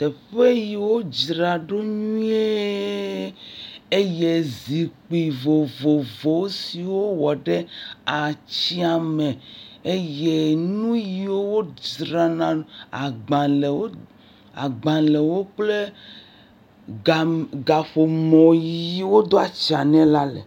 teƒe yiwo draɖo nyuie eye zikpi vovovowo siwó wɔ ɖe atsiã me eye nuyi wó dzrana agbalēwo kple gaƒomɔ yiwo do'tsã nɛ le